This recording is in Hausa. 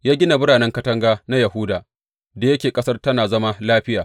Ya gina biranen katanga na Yahuda, da yake ƙasar tana zaman lafiya.